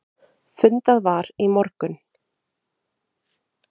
Fundað var í morgun.